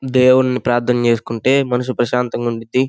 దేవుణ్ణి ప్రార్థన చేసుకుంటే మనసు ప్రశాంతంగా ఉండుద్ది.